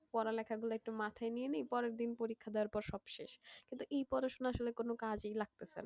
পড়ালেখাগুলো একটু মাথায় নিয়ে এই পরের দিন পরীক্ষা দেওয়ার পর সব শেষ, কিন্তু এই পড়াশোনা আসলে কোন কাজেই লাগতসেনা।